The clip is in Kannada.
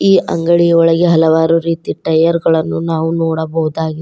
ಈ ಅಂಗಡಿ ಒಳಗೆ ಹಲವಾರು ರೀತಿ ಟೈಯರ್ ಗಳನ್ನು ನಾವು ನೋಡಬಹುದಾಗಿದೆ.